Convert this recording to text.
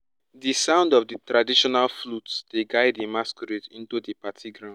di sound of di traditional flutes dey guide di masquerades into di party ground